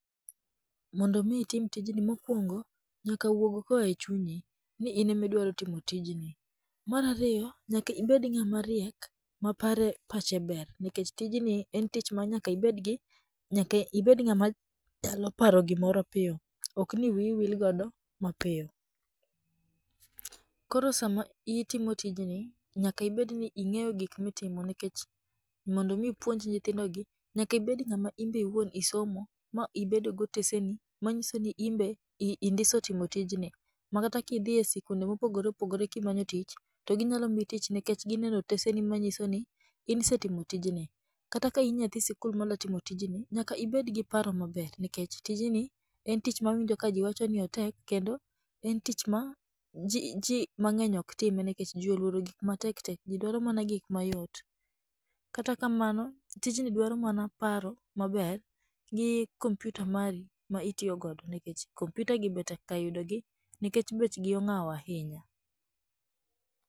Mondo mi itim tijni mokuongo nyaka wuog koa e chunyi ni in ema idwaro timo tijni. Mar ariyo nyaka ibed ng'ama riek ma pare ma pache ber nikech tijni en tich ma nyaka ibedgi nyaka ibed ng'ama nyalo paroo gimoro piyo. Ok ni wiyi wil godo mapiyo. Koro sama itimo tijni nyaka ibed ni ing'eyo gik itimo nikech mondo i ipuonj nyithindogi nyaka ibed ng'ama in be iwuon isomo ma ibedo goteseni. Manyiso ni in be indiso timo tijni makata kidhi e sikunde mopogore opogore kimanyo tich, to ginyalo miyi tich nikech gineno otesegi manyisoni in isetimo tijni. Kata ka in nyathi sikul madwa timo tijni, nyaka ibed gi paro maber nikech tijni en tich mawinjo ka ji mang'eny wacho ni otek kendo en tich maji mang'eny ok time nikech ji oluoro gik matek tek ji dwaro mana gik mayot. Kata kamano tijni dwaro mana paro maber gi kompiuta mari ma iiyo godo nikech kompiutagi be tekga yudogi nikech bechgi ongawo ahinya.